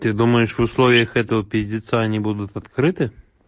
ты думаешь в условиях этого пиздиться они будут открыты